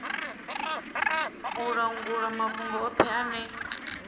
u langula mafhungo othe ane